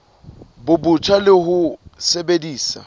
bo botjha le ho sebedisa